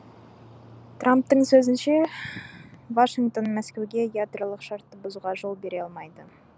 трамптың сөзінше вашингтон мәскеуге ядролық шартты бұзуға жол бере алмайды